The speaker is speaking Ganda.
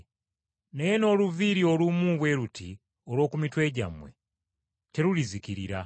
Naye n’oluviiri olumu bwe luti olw’oku mitwe gyammwe terulizikirira.